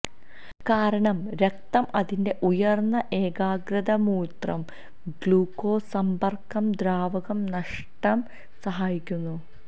കാരണം രക്തം അതിന്റെ ഉയർന്ന ഏകാഗ്രത മൂത്രം ഗ്ലൂക്കോസ് സമ്പർക്കം ദ്രാവകം നഷ്ടം സഹായിക്കുന്നു